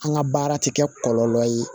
An ka baara tɛ kɛ kɔlɔlɔ ye